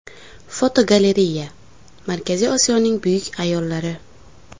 Fotogalereya: Markaziy Osiyoning buyuk ayollari.